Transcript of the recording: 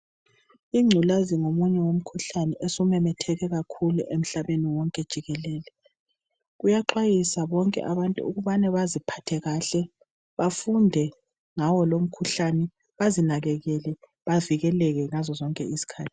Ingculaza ngomunye wemikhuhlane osumemetheke kakhulu emhlabeni wonke jikelele kuyaxwayiswa bonke abantu ukubana baziphathe kahle bafunde ngawo lomkhuhlane bazinakekele bavikeleke ngzo zonke izikhathi.